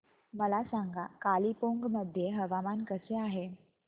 मला सांगा कालिंपोंग मध्ये हवामान कसे आहे